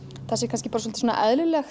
það sé kannski bara svolítið eðlilegur